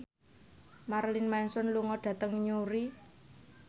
Marilyn Manson lunga dhateng Newry